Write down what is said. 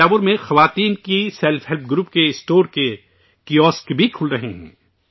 تھنجاور میں خواتین کے سیلف ہیلپ گروپز کے اسٹور اور کیوسک بھی کھل رہے ہیں